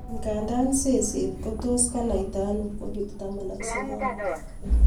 nganda seset ko tos konaita ano covid-19?